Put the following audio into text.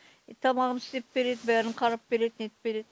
тамағын істеп береді бәрін қарап береді нетіп береді